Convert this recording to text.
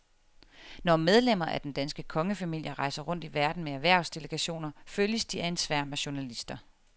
Når medlemmer af den danske kongefamilie rejser rundt i verden med erhvervsdelegationer følges de af en sværm af journalister.